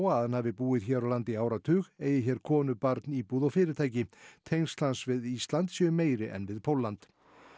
að hann hafi búið hér á landi í áratug eigi hér konu barn íbúð og fyrirtæki tengsl hans við Ísland séu meiri en við Pólland